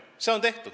See on tehtud.